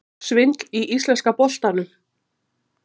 Svindl í íslenska boltanum?